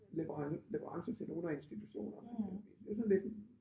Leverance til nogle af institutionerne det sådan lidt